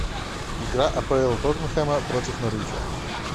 игра апл тоттенхэма против норвича